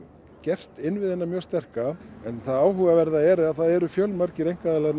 gert innviðina mjög sterka það áhugaverða er að það eru fjölmargir einkaaðilar